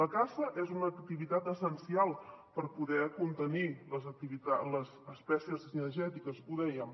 la caça és una activitat essencial per poder contenir les espècies cinegètiques ho dèiem